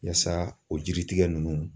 Yaasa o jiritigɛ ninnu